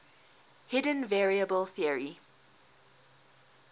hidden variable theory